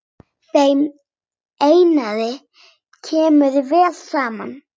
Þeim Einari kemur vel saman.